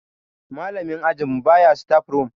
malamin ajinmu baya staf room